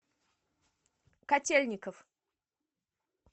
котельников